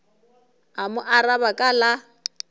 a mo araba ka la